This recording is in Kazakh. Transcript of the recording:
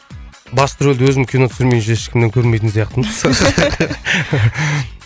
басты рөлде өзім кино түсірмейінше ешкімнен көрмейтін сияқтымын